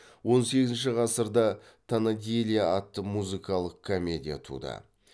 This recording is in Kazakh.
он сегізінші ғасырда тонадилья атты музыкалық комедия туды